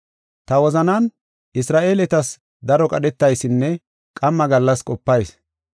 Ta wozanan Isra7eeletas daro qadhetaysinne qamma gallas qopayis.